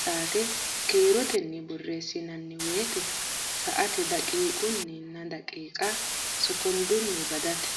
saate kiirotenni borreessinanni woyte saate daqiiqunninna daqiiqa sokondunni badateeti.